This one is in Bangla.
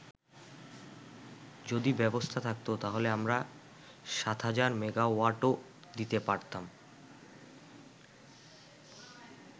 যদি ব্যবস্থা থাকতো, তাহলে আমরা ৭০০০ মেগাওয়াটও দিতে পারতাম।